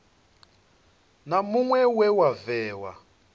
na muṅwe we wa vhewa